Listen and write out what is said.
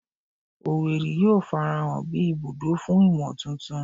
Owerri yoo farahan bi ibudo fun imotuntun